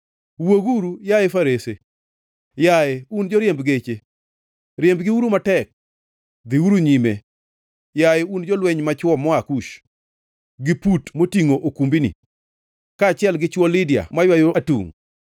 Wuoguru, yaye farese! Yaye, un joriemb geche, riembgiuru matek! Dhiuru nyime, yaye un jolweny machwo moa Kush, gi Put motingʼo okumbini, kaachiel gi chwo Lidia maywayo atungʼ.